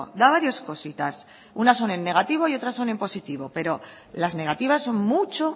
da varias cositas unas son en negativo y otras son en positivo pero las negativas son mucho